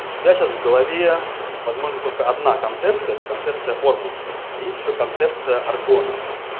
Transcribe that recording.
у тебя сейчас в голове возможно только одна концепция это концепция формуса а есть ещё концепция аргона